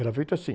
Era feito assim.